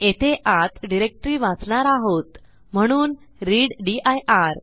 येथे आत डिरेक्टरी वाचणार आहोत म्हणून रीड दिर